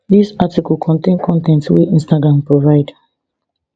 dis article contain con ten t wey instagram provide